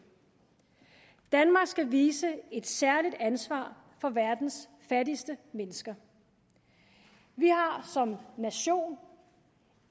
danmark skal vise et særligt ansvar for verdens fattigste mennesker vi har som nation